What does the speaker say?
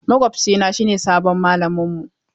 Makwabcina shine sabon mallaminmu.